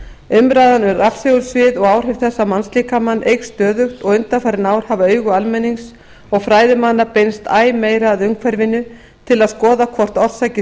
umræðan um rafsegulsvið og áhrif þess á mannslíkamann eykst stöðugt og undanfarin ár hafa augu almennings og fræðimanna beinst æ meira að umhverfinu til að skoða hvort orsakir